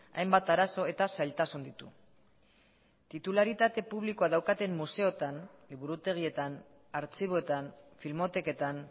hainbat arazo eta zailtasun ditu titularitate publikoa daukaten museotan liburutegietan artxiboetan filmoteketan